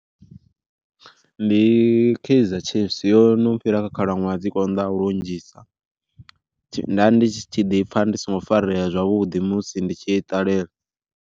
Ndi Kaizer Chiefs yo no fhira kha khalaṅwaha dzi konḓaho lunzhisa, nda ndi tshi ḓipfa ndi songo farea zwavhuḓi musi ndi tshi i ṱalela.